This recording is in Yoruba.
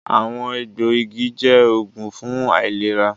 “Àwọn egbò igi” jẹ́ oògùn fún àìlera